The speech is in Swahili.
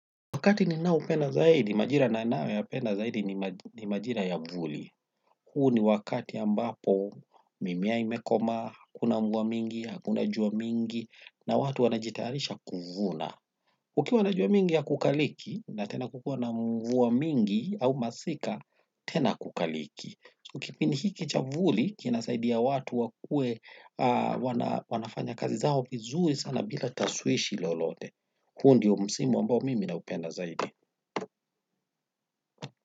Wakati ninaoupenda zaidi, majira ninayoyapenda zaidi ni majira ya mvua. Huu ni wakati ambapo mimea imekomaa, hakuna mvua nyingi, hakuna jua nyingi, na watu wanajitayarisha kuvuna. Kukiwa na jua mingi hakukaliki na tena kukiwa na mvua mingi au masika tena hakukaliki. Kipindi hiki cha mvuli kinasaidia watu wakue, wanafanya kazi zao vizuri sana bila tashwishi lolote. Huu ndiyo msimu ambao mimi naupenda zaidi.